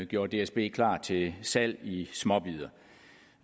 gjorde dsb klar til salg i småbidder